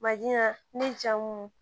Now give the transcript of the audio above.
ne jamu